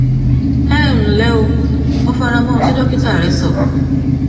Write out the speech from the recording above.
ẹ ǹlẹ o mo fara mọ ohun tí dókítà rẹ sọ